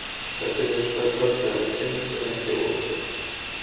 Þetta eru hins vegar tölfræðileg tengsl en ekki óumflýjanleg.